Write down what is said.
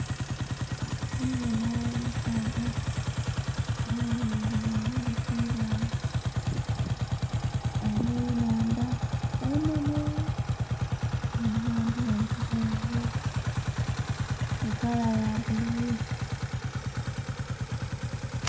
Ndhi bonha omusaadha nga ayemeleile ghangulu ku ibaale. Ghaligho enhandha enhenhe!!! Nga amaadhi gali kutambula mu kala ya bbulululu.